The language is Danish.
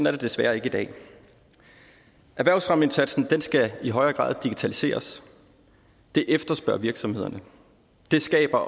er det desværre ikke i dag erhvervsfremmeindsatsen skal i højere grad digitaliseres det efterspørger virksomhederne det skaber